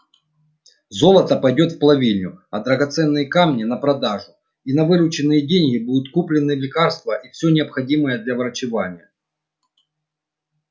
золото пойдёт в плавильню а драгоценные камни на продажу и на вырученные деньги будут куплены лекарства и всё необходимое для врачевания